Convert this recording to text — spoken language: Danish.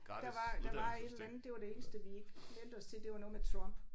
Der var der var et eller andet det var det eneste vi ikke meldte os til det var noget med Trump